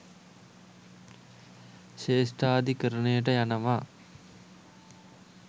ශ්‍රේෂ්ඨාධිකරණයට යනවා.